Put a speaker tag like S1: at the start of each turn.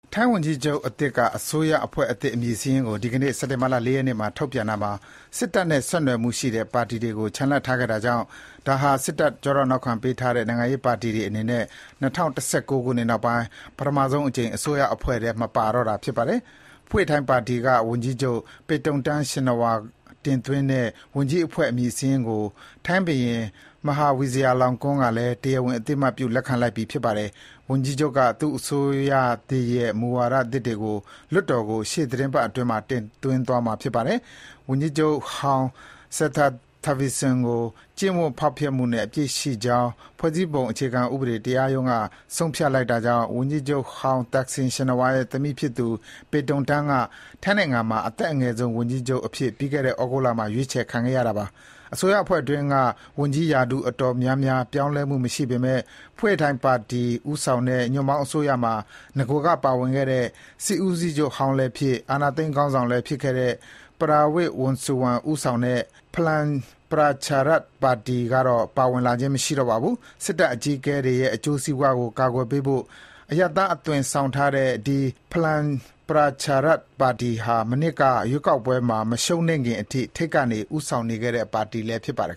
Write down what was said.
S1: ထိုင်းဝန်ကြီးချုပ်အသစ်က အစိုးရအဖွဲ့သစ် အမည်စာရင်းကို ဒီကနေ့ စက်တင်ဘာ ၄ ရက်နေ့မှာ ထုတ်ပြန်တာမှာ စစ်တပ်နဲ့ ဆက်နွယ်မှုရှိတဲ့ ပါတီဝင်တွေကို ချန်လှပ်ထားခဲ့တာကြောင့် ဒါဟာ စစ်တပ်ကျောထောက်နောက်ခံပေးထားတဲ့ နိုင်ငံရေးပါတီတွေအနေနဲ့ ၂၀၁၉ ခုနှစ်နောက်ပိုင်း ပထမဆုံးအကြိမ် အစိုးရအဖွဲ့ထဲ မပါတော့တာ ဖြစ်ပါတယ်။ Pheu Thai ပါတီက ဝန်ကြီးချုပ် Paetongtarn Shinawatra တင်သွင်းတဲ့ ဝန်ကြီးအဖွဲ့ အမည်စာရင်းကို ထိုင်းဘုရင် Maha Vajiralongkorn ကလည်း တရားဝင် အသိအမှတ်ပြု လက်ခံလိုက်ပြီ ဖြစ်ပါတယ်။ ဝန်ကြီးချုပ်က သူ့အစိုးရရဲ့ မူဝါဒအသစ်တွေကို လွှတ်တော်ကို ရှေ့သီတင်းပတ်အတွင်း တင်သွင်းမှာ ဖြစ်ပါတယ်။ အရင်ဝန်ကြီးချုပ် Srettha Thavisin ကို ကျင့်ဝတ်ဖောက်ဖျက်မှုနဲ့ အပြစ်ရှိကြောင်း ဖွဲ့စည်းပုံအခြေခံဥပဒေ တရားရုံးကဆုံးဖြတ်လိုက်တာကြောင့် ဝန်ကြီးချုပ်ဟောင်း Thaksin Shinawatra ရဲ့ သမီးဖြစ်သူ Paetongtarn က ထိုင်းနိုင်ငံမှာ အသက်အငယ်ဆုံး ဝန်ကြီးချုပ်အဖြစ် ပြီးခဲ့တဲ့ ဩဂုတ်လမှာ ရွေးချယ်ခံခဲ့ရတာပါ။ အစိုးရအဖွဲ့အတွင်းက ဝန်ကြီးရာထူးအတော်များများ ပြောင်းလဲမှုမရှိပေမယ့် Pheu Thai ပါတီဦးဆောင်တဲ့ ညွန့်ပေါင်းအစိုးရမှာ နဂိုက ပါဝင်ခဲ့တဲ့ စစ်ဦးစီးချုပ်ဟောင်းလည်းဖြစ် အာဏာသိမ်းခေါင်းဆောင်လည်း ဖြစ်ခဲ့တဲ့ Prawit Wongsuwan ဦးဆောင်တဲ့ Palang Pracharath Party (PPRP) ကတော့ ပါဝင်လာခြင်း မရှိတော့ပါဘူး။ စစ်တပ်အကြီးအကဲတွေရဲ့ အကျိုးစီးပွားကို ကာကွယ်ပေးဖို့ အရပ်သားအသွင်ဆောင်ထားတဲ့ ဒီ Palang Pracharath Party ဟာ မနှစ်က ရွေးကောက်ပွဲမှာ မရှုံးနိမ့်ခင်အထိ ထိပ်က ဦးဆောင်နေခဲ့တဲ့ပါတီလည်း ဖြစ်ပါတယ်